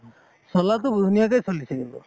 চলাতো ধুনীয়াকে চলিছে কিন্তু